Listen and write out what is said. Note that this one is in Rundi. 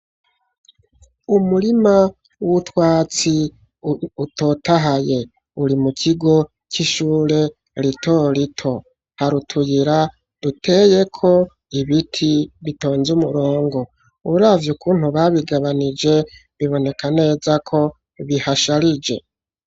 Umurima w'utwatsi utotahaye, uri mu kigo c'ishure rito rito, hari utuyira duteyeko ibiti bitonze umurongo, uravye ukuntu babigabanije, biboneka neza ko bihasharije.